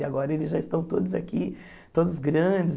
E agora eles já estão todos aqui, todos grandes.